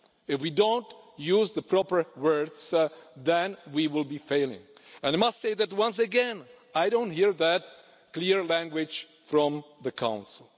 If we don't use the proper words then we will be failing, and I must say that, once again, I don't hear that clear language from the Council.